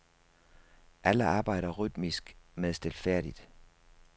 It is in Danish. Alle arbejder rytmisk men stilfærdigt.